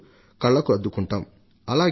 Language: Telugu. జలం కూడా దైవ ప్రసాదితమే